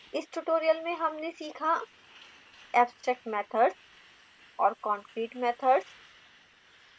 इस tutorial में हमने सीखा: abstract methods और concrete methods